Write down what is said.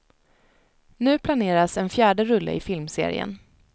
Nu planeras en fjärde rulle i filmserien.